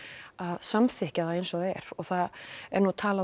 samþykkja eins og það er og það er oft talað